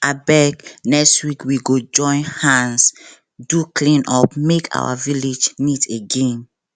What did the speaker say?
abeg next week we go join hands do cleanup make our village neat again